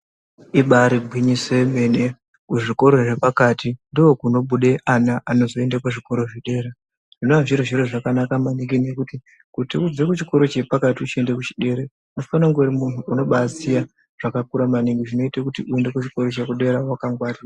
Ibaari gwinyiso remene, kuzvikoro zvepakati ndookunobude ana anozoenda kuzvikoro zvedera zvinova zviri zviro zvakanaka maningi nekuti kuti ubve kuchikoro chepakati uchienda kuchedera unofana kunge uri munhu unobaaziya zvakakura maningi zvinoita kuti uende kuchikoro chedera wakangwarira.